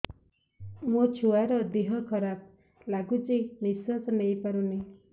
ମୋ ଛୁଆର ଦିହ ଖରାପ ଲାଗୁଚି ନିଃଶ୍ବାସ ନେଇ ପାରୁନି